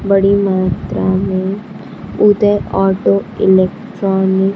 बड़ी मात्रा में उदय ऑटो इलेक्ट्रॉनिक --